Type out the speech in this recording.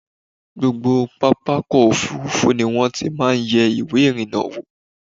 Gbogbo pápákọ̀-òfurufú ni wọ́n ti máa ń yẹ̀ ìwé-ìrìnnà wò.